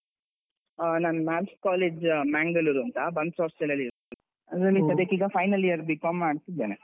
ಆ ನಾನ್ Men's college Mangalore ಅಂತ Bunts hostel ಅಲ್ಲಿ ಅದ್ರಲ್ಲಿ ಸದ್ಯಕ್ಕೀಗ final year B.Com ಮಾಡ್ತಿದ್ದೇನೆ.